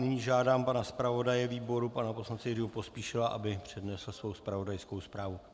Nyní žádám pana zpravodaje výboru pana poslance Jiřího Pospíšila, aby přednesl svou zpravodajskou zprávu.